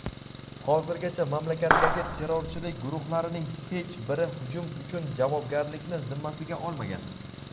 Hozirgacha mamlakatdagi terrorchilik guruhlarining hech biri hujum uchun javobgarlikni zimmasiga olmagan.